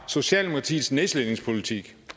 socialdemokratiets nedslidningspolitik